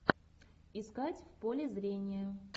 искать в поле зрения